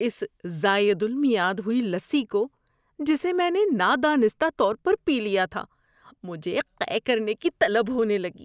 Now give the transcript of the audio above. اس زائد المیعاد ہوئی لسی کو جسے میں نے نادانستہ طور پر پی لیا تھا، مجھے قے کرنے کی طلب ہونے لگی۔